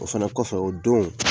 O fɛnɛ kɔfɛ o don